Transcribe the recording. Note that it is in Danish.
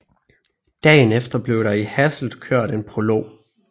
Dagen efter bliev der i Hasselt kørt en prolog